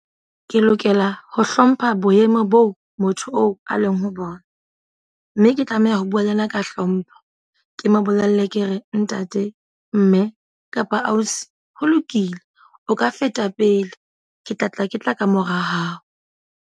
Ke lokela ho hlompha boemo boo motho oo a leng ho bona. Mme ke tlameha ho bua le yena ka hlompho. Ke mo bolelle ke re, ntate, mme, kapa ausi, ho lokile o ka feta pele. Ke tla tla ke tla kamora hao.